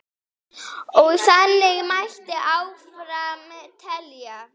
Og þannig mætti áfram telja.